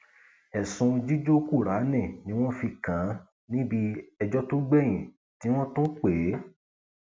ẹsùn jíjó kùráànì ni wọn fi kàn án níbi ẹjọ tó gbẹyìn tí wọn tún pè é